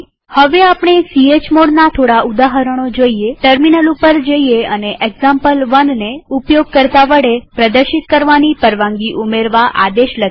હવે આપણે chmodના થોડા ઉદાહરણો જોઈએટર્મિનલ ઉપર જઈએ અને example1ને ઉપયોગકર્તા વડે પ્રદર્શિત કરવાની પરવાનગી ઉમેરવા આદેશ લખીએ